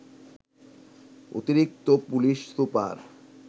অতিরিক্ত police super